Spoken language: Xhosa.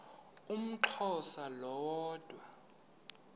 umxhosa lo woda